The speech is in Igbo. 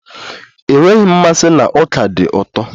Enweghị m mmasị na ọka dị ụtọ.